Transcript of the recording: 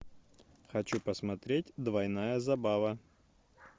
хочу посмотреть двойная забава